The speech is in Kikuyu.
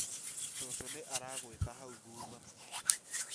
cũcũ nĩ arakwĩta hau thutha